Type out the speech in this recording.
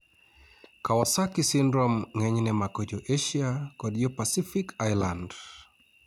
Kawasaki syndrome ng'enyne mako jo Asia kod jo Pacific Island